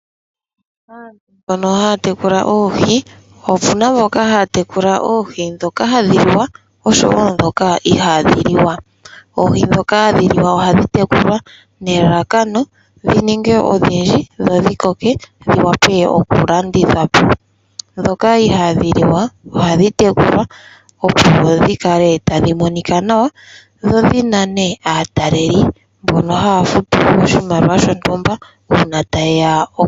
Aantu mboka haya tekula oohi, opu na mboka haya tekula oohi ndhoka hadhi liwa oshowo ndhoka ihadhi liwa. Oohi ndhoka hadhi liwa ohadhi tekulwa nelelekano dhi ninge odhindji dho dhi koke dhi vule okulandithwa po. Ndhoka ihadhi liwa ohadhi tekulwa opo dhi kale tadhi monika nawa, dho dhi nane aatalelipo mboka haya futu oshimaliwa oshindji uuna taye ya oku dhi tala.